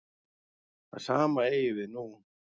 Það sama eigi við nú.